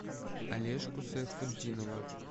олежку сайфутдинова